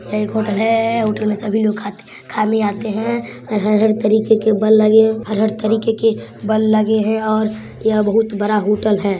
यह एक होटल है। होटल में सभी लोग खाते खाने आते हैं। हर हर तरीके के बल् लगे हैं हर हर तरीके के बल् लगे हैं और यह बहुत बड़ा होटल है।